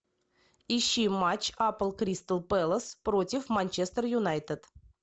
ищи матч апл кристал пэлас против манчестер юнайтед